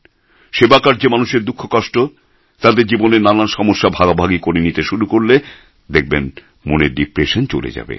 সেবাকার্যে মানুষের দুঃখ কষ্ট তাদের জীবনের নানান সমস্যা ভাগাভাগি করে নিতে শুরু করলে দেখবেন মনের ডিপ্রেশন চলে যাবে